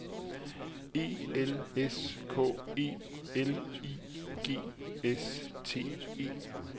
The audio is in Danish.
E L S K E L I G S T E